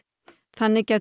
þannig gæti